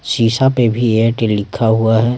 शीशा पे भी एयरटेल लिखा हुआ है।